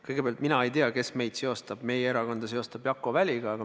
Kõigepealt, mina ei tea, kes seostab meid, meie erakonda Jakko Väliga.